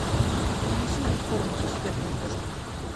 принеси мне корм китекет для кошки